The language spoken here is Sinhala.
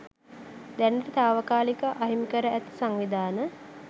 දැනට තාවකාලිකව අහිමි කර ඇති සංවිධාන